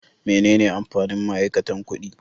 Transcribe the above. Menene amfanin ma'aikata kuɗi?